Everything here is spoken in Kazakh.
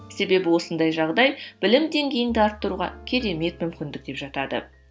себебі осындай жағдай білім деңгейін де арттыруға керемет мүмкіндік деп жатады